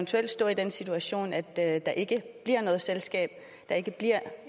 til at stå i den situation at at der ikke bliver noget selskab at der ikke bliver